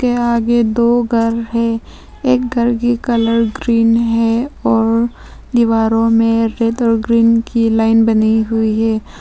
के आगे दो घर है एक घर की कलर ग्रीन है और दीवारों में रेड और ग्रीन की लाइन बनी हुई है।